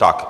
Tak.